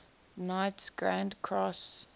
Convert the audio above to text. knights grand cross